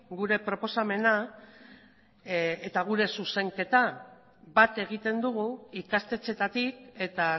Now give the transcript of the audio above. gure proposamena eta gure zuzenketa bat egiten dugu ikastetxeetatik eta